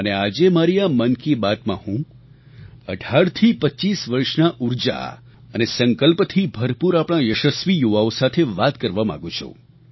અને આજે મારી આ મન કી બાતમાં હું 18થી 25 વર્ષના ઊર્જા અને સંકલ્પથી ભરપૂર આપણા યશસ્વી યુવાઓ સાથે વાત કરવા માગું છું